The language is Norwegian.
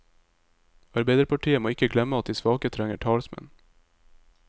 Arbeiderpartiet må ikke glemme at de svake trenger talsmenn.